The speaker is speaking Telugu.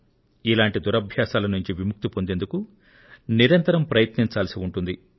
ఇలాంటి దురభ్యాసాల నుండి విముక్తిని పొందేందుకు నిరంతరం ప్రయత్నించాల్సి ఉంటుంది